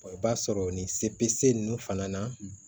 i b'a sɔrɔ nin se bɛ se ninnu fana na